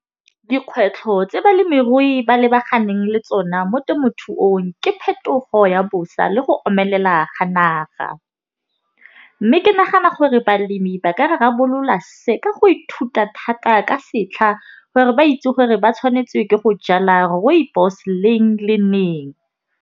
Dikgwetlho tse balemirui ba lebaganeng le tsona mo temothuong ke phetogo ya bosa le go omelela ga naga. Mme ke nagana gore balemi ba ka rarabolola se ka go ithuta thata ka setlha gore ba itse gore ba tshwanetswe ke go jala rooibos leng le neng.